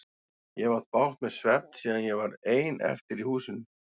Ég hef átt bágt með svefn síðan ég varð ein eftir í húsinu.